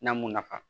N'a m'u nafa